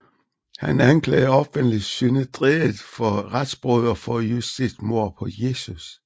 Han anklagede offentligt Synedriet for retsbrud og for justitsmord på Jesus